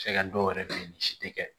Cɛ ka dɔw yɛrɛ bɛ yen ni si tɛ kɛ